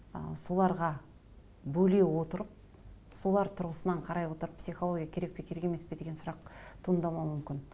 ы соларға бөле отырып солар тұрғысынан қарай отырып психолоия керек пе керек емес пе деген сұрақ туындамауы мүмкін